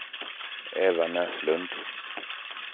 Eva Näslund